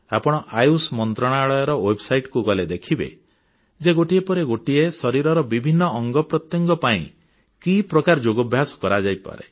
ଆପଣ ଆୟୁଷ ମନ୍ତ୍ରଣାଳୟର ୱେବସାଇଟକୁ ଗଲେ ଦେଖିବେ ଯେ ଗୋଟିଏ ପରେ ଗୋଟିଏ ଶରୀରର ବିଭିନ୍ନ ଅଙ୍ଗପ୍ରତ୍ୟଙ୍ଗ ପାଇଁ କି ପ୍ରକାର ଯୋଗାଭ୍ୟାସ କରାଯାଇପାରେ